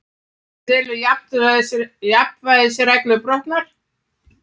Telur jafnræðisreglu brotna